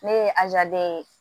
Ne ye ye